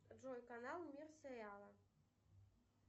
джой канал мир сериала